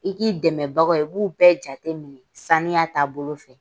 I k'i dɛmɛbagaw ye i b'u bɛɛ jateminɛ saniya ta bolo fɛ.